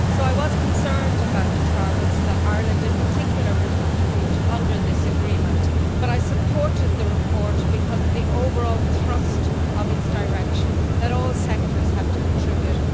I was concerned about the targets that Ireland, in particular, would have to reach under this agreement, but I supported the report because of the overall thrust of its direction that all sectors have to contribute.